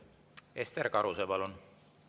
Ester Karuse, palun!